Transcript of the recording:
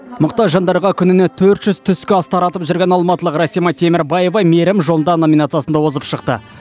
мұқтаж жандарға күніне төрт жүз түскі ас таратып жүрген алматылық расима темербаева мейірім жолында номинациясында озып шықты